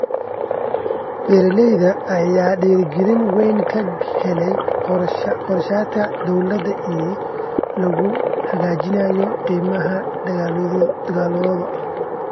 Beeralayda ayaa dhiirigelin weyn ka helay qorshayaasha dawladda ee lagu hagaajinayo qiimaha dalagyadooda.